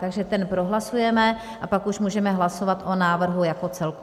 Takže ten prohlasujeme a pak už můžeme hlasovat o návrhu jako celku.